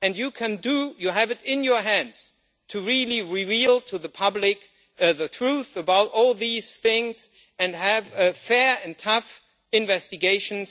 and you can do it, you have in your hands to really reveal to the public the truth about all these things and have fair and tough investigations.